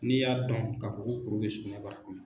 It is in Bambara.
N'i y'a dɔn ka fɔ ko kuru be sugunɛbara kɔnɔ